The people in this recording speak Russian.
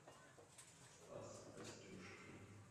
стас костюшкин